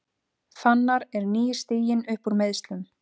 Fannar er nýstiginn uppúr meiðslum